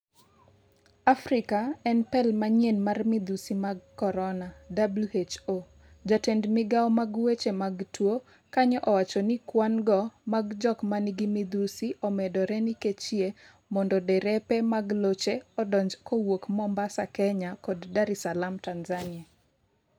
afrika en pel manyien mar midhusi mag korona-WHO jatend migao mag weche mag tuo, kanyo owacho ni kwan go mag jok manigi midhusi omedore nikechyie mondo derepe mag locheodonj kowuok Mombasa, Kenya, kod Dar es salaam, Tanzania.